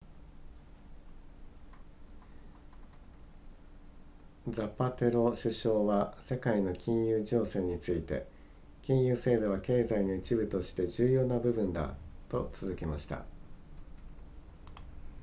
ザパテロ首相は世界の金融情勢について金融制度は経済の一部として重要な部分だと続けました